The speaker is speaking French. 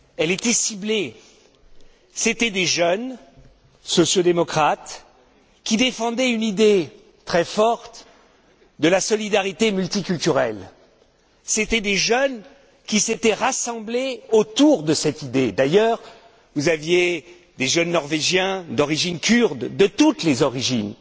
était ciblée contre des jeunes, sociaux démocrates, qui défendaient une idée très forte de la solidarité multiculturelle, des jeunes qui s'étaient rassemblés autour de cette idée. Il y avait d'ailleurs des jeunes Norvégiens d'origine kurde, de toutes les origines,